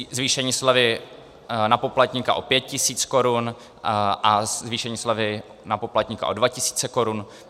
Zvýšení slevy na poplatníka o 5 tisíc korun a zvýšení slevy na poplatníka o 2 tisíce korun.